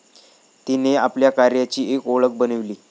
तिने आपल्या कार्याची एक ओळख बनवली.